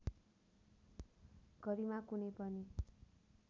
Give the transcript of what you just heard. गरिमा कुनै पनि